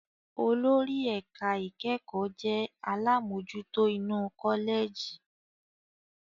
Olórí ẹ̀ka ìkẹ́kọ̀ọ́ jẹ́ àlámojutó inú kọ́lẹ̀jì.